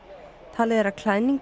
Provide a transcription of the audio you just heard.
talið er að klæðning